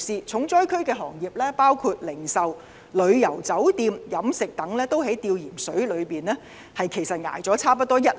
重災區行業包括零售、旅遊、酒店、飲食等，均已在"吊鹽水"的情況下，支撐了差不多一年。